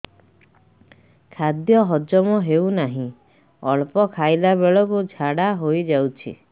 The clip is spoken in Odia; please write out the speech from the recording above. ଖାଦ୍ୟ ହଜମ ହେଉ ନାହିଁ ଅଳ୍ପ ଖାଇଲା ବେଳକୁ ଝାଡ଼ା ହୋଇଯାଉଛି